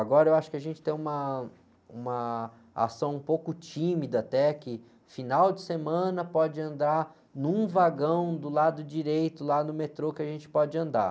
Agora eu acho que a gente tem uma, uma ação um pouco tímida até, que final de semana pode andar num vagão do lado direito, lá no metrô, que a gente pode andar.